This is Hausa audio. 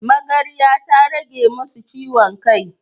Magarya ta rage masu ciwon kai.